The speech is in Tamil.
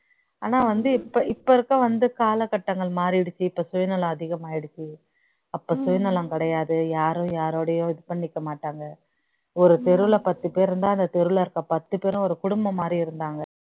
ஆனா வந்து இப்ப இப்ப இருக்க வந்து காலகட்டங்கள் மாறிடுச்சு இப்ப சுயநலம் அதிகமாயிடுச்சு அப்ப சுயநலம் கிடையாது யாரும் யாரோடையும் இது பண்ணிக்க மாட்டாங்க ஒரு தெருவுல பத்து பேர் இருந்தா அந்த தெருவுல இருக்க பத்து பேரும் ஒரு குடும்பம்மாரி இருந்தாங்க